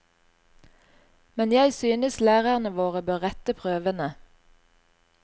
Men jeg synes lærerne våre bør rette prøvene.